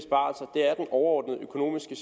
overordnede økonomiske